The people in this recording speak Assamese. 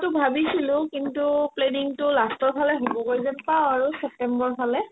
যোৱাতো ভাবিছিলো কিন্তু panning তো last ৰ ফালে হ'বগৈ যেন পাও আৰু ছেপ্তেম্বৰৰ ফালে